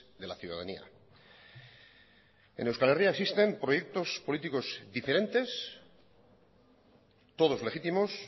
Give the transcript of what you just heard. de la ciudadanía en euskal herria existen proyectos políticos diferentes todos legítimos